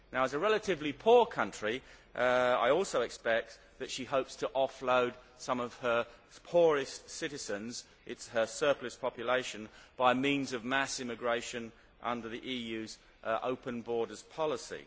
As a relatively poor country, I also expect that she hopes to offload some of her poorest citizens her surplus population by means of mass immigration under the EU's open borders policy.